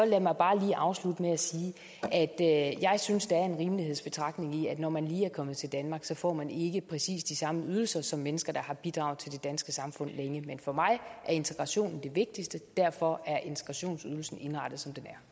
bare lige afslutte med at sige at jeg synes der er en rimelighedsbetragtning i at når man lige er kommet til danmark får man ikke præcis de samme ydelser som mennesker der har bidraget til det danske samfund længe men for mig er integrationen det vigtigste derfor er integrationsydelsen indrettet